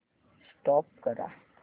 stop करा